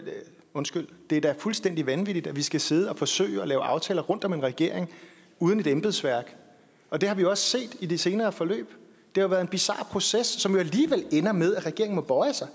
undskyld det er da fuldstændig vanvittigt at vi skal sidde og forsøge at lave aftaler rundt om en regering uden et embedsværk og det har vi også set i de senere forløb det har været en bizar proces som jo alligevel ender med at regeringen må bøje sig